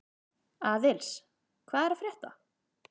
Aðils, hvað er að frétta?